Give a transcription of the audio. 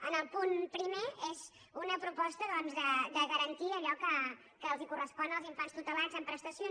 en el punt primer és una proposta doncs de garantir allò que els correspon als infants tutelats en prestacions